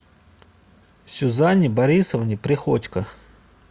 сюзанне борисовне приходько